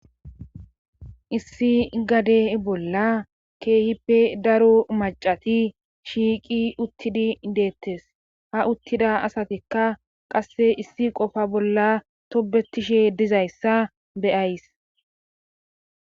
issi gade bolla keehippe daro macati shiiqi uttidi deettes ha uttida asatikka qasse issi qofa bolla tobetishe dizayssa beyays